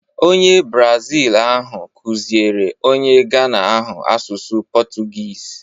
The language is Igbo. Onye Brazil ahụ kụziere onye Ghana ahụ asụsụ Portuguese